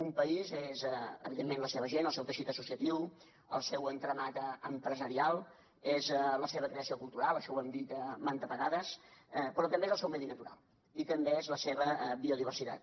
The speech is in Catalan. un país és evidentment la seva gent el seu teixit associatiu el seu entramat empresarial és la seva creació cultural això ho hem dit mantes vegades però també és el seu medi natural i també és la seva biodiversitat